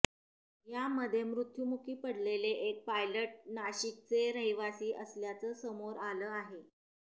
यामध्ये मृत्युमुखी पडलेले एक पायलट नाशिकचे रहिवासी असल्याचं समोर आलं आहे